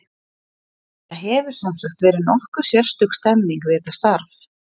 Það hefur, sem sagt, verið nokkuð sérstök stemming við þetta starf.